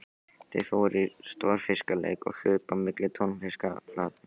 Þau fóru í stórfiskaleik og hlupu á milli tunnustaflanna.